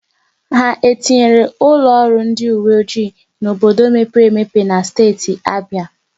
Ha etinyere ụlọ ọrụ ndị uwe ojii n'obodo mepere emepe na steeti Abịa?